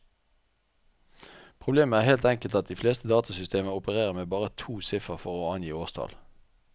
Problemet er helt enkelt at de fleste datasystemer opererer med bare to siffer for å angi årstall.